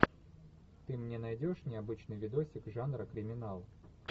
ты мне найдешь необычный видосик жанра криминал